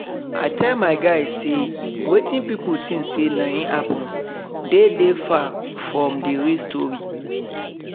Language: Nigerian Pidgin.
i tell my guy say wetin pipo think say na im happen dey dey far from d real story